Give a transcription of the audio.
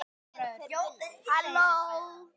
Þar var okkur vel tekið.